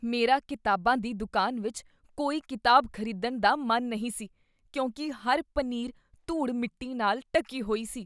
ਮੇਰਾ ਕਿਤਾਬਾਂ ਦੀ ਦੁਕਾਨ ਵਿਚ ਕੋਈ ਕਿਤਾਬ ਖ਼ਰੀਦਣ ਦਾ ਮਨ ਨਹੀਂ ਸੀ ਕਿਉਂਕਿ ਹਰ ਪਨੀਰ ਧੂੜ ਮਿੱਟੀ ਨਾਲ ਢੱਕੀ ਹੋਈ ਸੀ